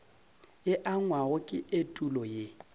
e angwago ke etulo ye